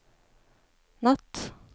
natt